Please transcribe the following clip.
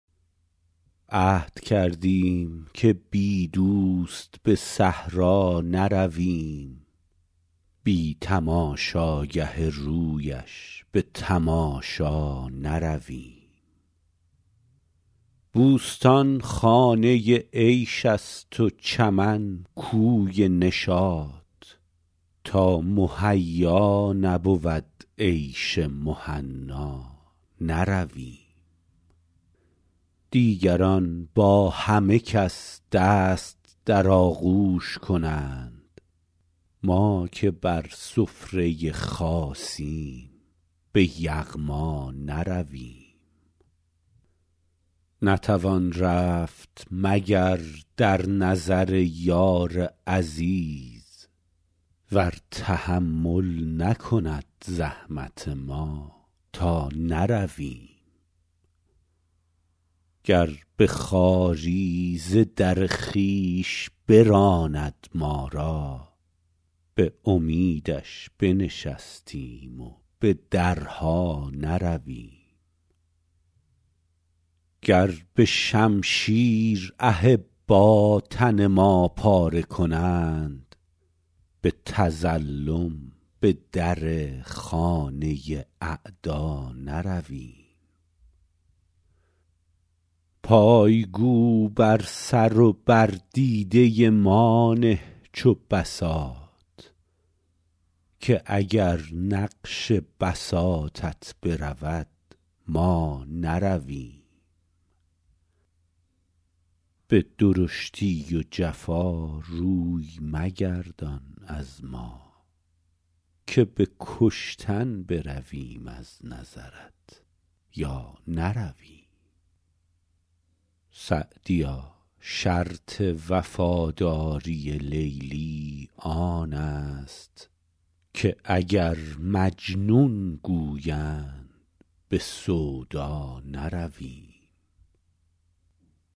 عهد کردیم که بی دوست به صحرا نرویم بی تماشاگه رویش به تماشا نرویم بوستان خانه عیش است و چمن کوی نشاط تا مهیا نبود عیش مهنا نرویم دیگران با همه کس دست در آغوش کنند ما که بر سفره خاصیم به یغما نرویم نتوان رفت مگر در نظر یار عزیز ور تحمل نکند زحمت ما تا نرویم گر به خواری ز در خویش براند ما را به امیدش بنشینیم و به درها نرویم گر به شمشیر احبا تن ما پاره کنند به تظلم به در خانه اعدا نرویم پای گو بر سر و بر دیده ما نه چو بساط که اگر نقش بساطت برود ما نرویم به درشتی و جفا روی مگردان از ما که به کشتن برویم از نظرت یا نرویم سعدیا شرط وفاداری لیلی آن است که اگر مجنون گویند به سودا نرویم